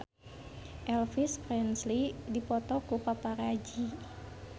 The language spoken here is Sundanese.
Elvis Presley dipoto ku paparazi